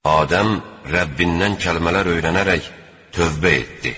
Adəm Rəbbindən kəlmələr öyrənərək tövbə etdi.